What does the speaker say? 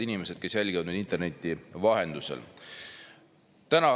Head inimesed, kes jälgivad meid interneti vahendusel!